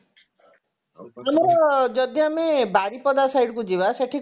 ଆମର ଯଦି ଆମେ ବାରିପଦା side କୁ ଯିବା ସେଠି କଣ